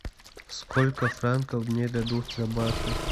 сколько франков мне дадут за баты